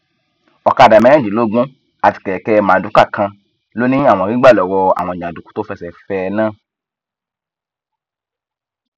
ọkadà mẹrìnlélógún àti kẹkẹ mardukà kan ló ní àwọn rí gbà lọwọ àwọn jàǹdùkú tó fẹsẹ fẹ ẹ náà